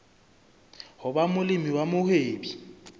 ho ba molemi wa mohwebi